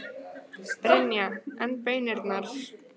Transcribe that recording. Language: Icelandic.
Brynja: En baunirnar?